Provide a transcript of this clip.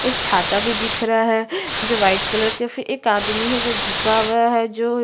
एक छाता भी दिख रहा है जो वाइट कलर के एक आदमी है जो झुका हुआ है जो --